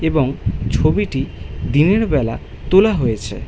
এবং ছবিটি দিনেরবেলা তোলা হয়েছে।